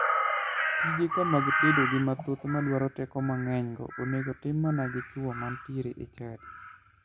Tije ka mag tedo gik mathoth madwaro teko mang'enygo onego tim mana gi chuo manitiere e chadi.